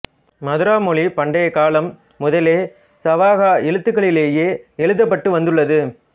மதுரா மொழி பண்டைக் காலம் முதலே சாவக எழுத்துக்களிலேயே எழுதப்பட்டு வந்துள்ளது